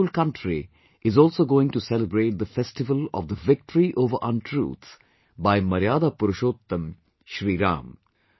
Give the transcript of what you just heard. The whole country is also going to celebrate the festival of the victory over untruth by Maryada Purushottam Shri Ram